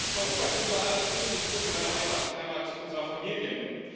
Europa ist unser aller christlich kulturelle Heimat Heimat unserer Familien.